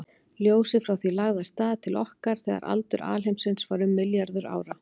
Ljósið frá því lagði af stað til okkar þegar aldur alheimsins var um milljarður ára.